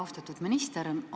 Austatud minister!